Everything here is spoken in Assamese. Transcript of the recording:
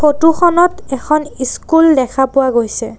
ফটো খনত এখন ইচকুল দেখা পোৱা গৈছে।